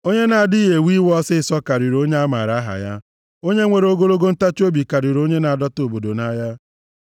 Onye na-adịghị ewe iwe ọsịịsọ karịrị onye a maara aha ya. Onye nwere ogologo ntachiobi karịrị onye na-adọta obodo nʼagha.